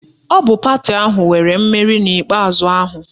Ọ bụ pati ahụ nwere mmeri n'ikpe ikpeazụ ahụ